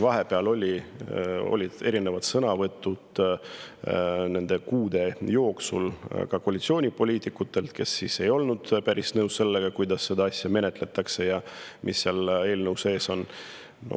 Vahepeal olid nende kuude jooksul erinevad sõnavõtud ka koalitsioonipoliitikutelt, kes ei olnud päris nõus sellega, kuidas seda eelnõu menetletakse ja mis seal eelnõus sees on.